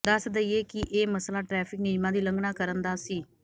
ਦੱਸ ਦਈਏ ਕਿ ਇਹ ਮਸਲਾ ਟ੍ਰੈਫਿਕ ਨਿਯਮਾਂ ਦੀ ਉਲੰਘਣਾ ਕਰਨ ਦਾ ਸੀ